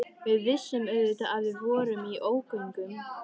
Við vissum auðvitað að við vorum í ógöngum.